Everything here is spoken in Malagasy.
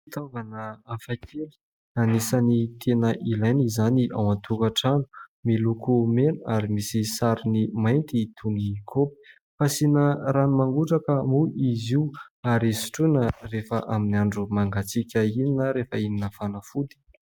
Fitaovana hafakely anisan'ny tena ilaina izany ao an-tokatrano, miloko mena ary misy sarony mainty toy ny koba. Fasiana rano mangotraka moa izy io ary sotroina rehefa amin'ny andro mangatsiaka iny na rehefa hihinana fanafody.